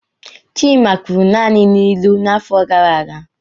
Chima kwuru naanị n'ilu n'afọ gara aga.